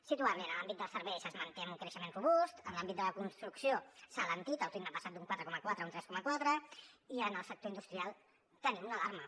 situar li en l’àmbit dels serveis es manté amb un creixement robust en l’àmbit de la construcció s’ha alentit el ritme ha passat d’un quatre coma quatre a un tres coma quatre i en el sector industrial tenim una alarma